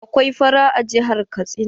Akwai fara a jihar Katsina.